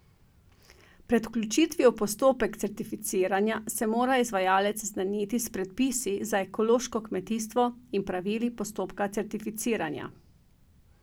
Pred vključitvijo v postopek certificiranja se mora izvajalec seznaniti s predpisi za ekološko kmetijstvo in pravili postopka certificiranja.